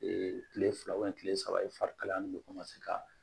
kile fila kile saba ye fari kalaya nin bɛ ka